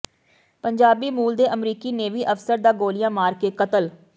ਪੰਜਾਬੀ ਮੂਲ ਦੇ ਅਮਰੀਕੀ ਨੇਵੀ ਅਫ਼ਸਰ ਦਾ ਗੋਲ਼ੀਆਂ ਮਾਰ ਕੇ ਕਤਲ